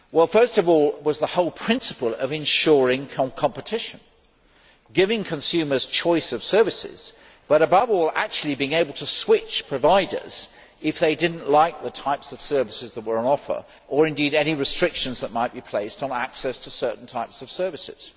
First of all there was the whole principle of ensuring competition giving consumers choice of services, but above all actually being able to switch providers if they did not like the types of services that were on offer or indeed any restrictions that might be placed on access to certain types of services.